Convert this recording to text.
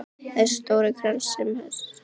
Þessi stóri krans sem hann sendi.